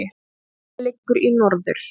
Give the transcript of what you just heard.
Straumurinn liggur í norður